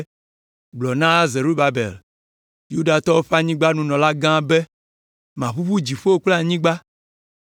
“Gblɔ na Zerubabel, Yudatɔwo ƒe anyigbadziɖulagã la be, maʋuʋu dziƒo kple anyigba.